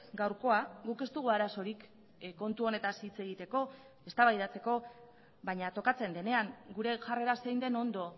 gaurkoa guk ez dugu arazorik kontu honetaz hitz egiteko eztabaidatzeko baina tokatzen denean gure jarrera zein den ondo